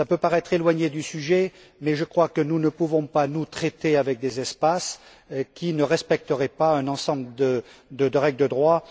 Cela peut paraître éloigné du sujet, mais je crois que nous ne pouvons pas, nous, traiter avec des espaces qui ne respecteraient pas un ensemble de règles de droit.